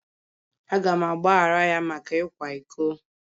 Aga m agbaghara ya maka ịkwa iko.